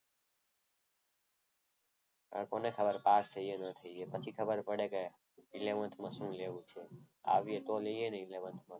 હવે કોને ખબર પાસ થઈએ ન થઈએ. પછી ખબર પડે કે eleventh માં શું લેવું છે? આવે તો લઈએ ને eleventh માં.